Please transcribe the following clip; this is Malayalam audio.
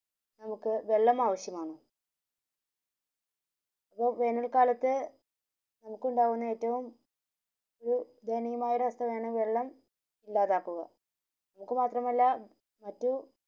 നമുക് വെള്ളം ആവിശ്യമാണ് ഇപ്പോ വേനൽ കാത്ത് നമുക് ഉണ്ടാകുന്ന ഏറ്റവും ഒരു ദയനീയമായ ഒരവസ്ഥ വേണേൽ വെള്ളം ഇല്ലാത്തതാണ്